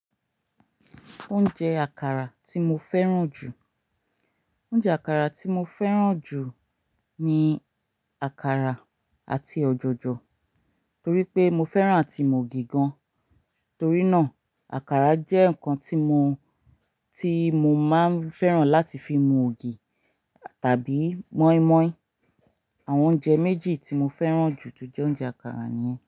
Oúnjẹ àkàrà tí mo fẹ́ràn jù. Oúnjẹ àkàrà tí mo fẹ́ràn jù ni àkàrà àti ọ̀jọ̀jọ̀ torí pé mo fẹ́ràn àti mu ògì gan. Torí náà, àkàrà jẹ́ nǹkan tí mo, tí mo máa fẹ́ràn láti fi mu ògì tàbí mọ́ímọ́í. Àwọn oúnjẹ méjì tí mo fẹ́ràn jù jẹ́ oúnjẹ àkàrà ni.